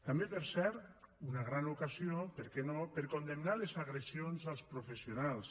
també per cert una gran ocasió per què no per condemnar les agressions als professionals